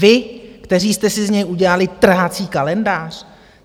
Vy, kteří jste si z něj udělali trhací kalendář!